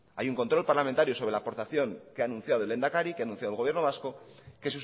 hay un control parlamentario sobre la aportación que ha anunciado el lehendakari que ha anunciado el gobierno vasco que